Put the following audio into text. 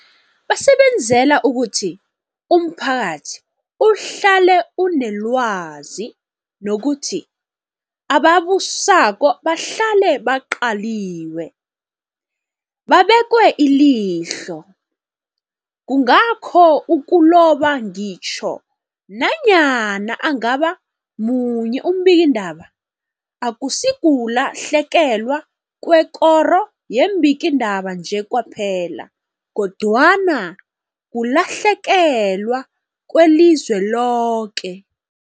Basebenzela ukuthi umphakathi uhlale unelwazi, nokuthi ababusako bahlale baqaliwe, babekwe ilihlo. Kungakho ukuloba ngitjho nanyana angaba munye umbikiindaba akusikulahlekelwa kwekoro yeembikiindaba nje kwaphela, kodwana kulahlekelwa kwelizwe loke.